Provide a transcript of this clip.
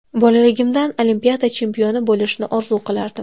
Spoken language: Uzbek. Bolaligimdan Olimpiada chempioni bo‘lishni orzu qilardim.